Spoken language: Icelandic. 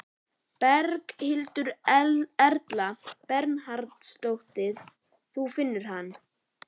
Berghildur Erla Bernharðsdóttir: Þú finnur hann?